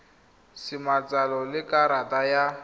sa matsalo le karata ya